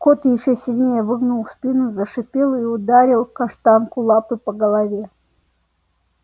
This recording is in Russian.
кот ещё сильнее выгнул спину зашипел и ударил каштанку лапой по голове